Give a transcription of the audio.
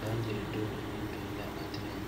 bangyire dugo maŋ biŋ la a teŋɛŋ.